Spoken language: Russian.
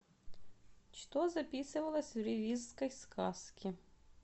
что записывалось в ревизской сказке